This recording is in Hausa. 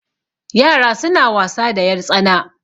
yara suna wasa da yartsana